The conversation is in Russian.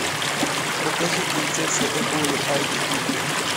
покажи принцесса эболи айч ди